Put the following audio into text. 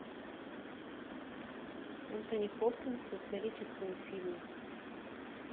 энтони хопкинс в историческом фильме